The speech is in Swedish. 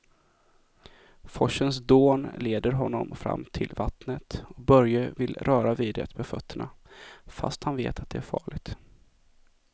Forsens dån leder honom fram till vattnet och Börje vill röra vid det med fötterna, fast han vet att det är farligt.